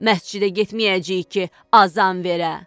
Məscidə getməyəcəyik ki, azan verə.